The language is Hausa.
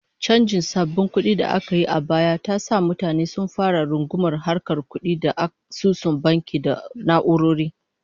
Chanjin sabbin kudi da aka yi a baya ta sa mutane sun fara rungumar harkar kudi ta asusun banki da na'urori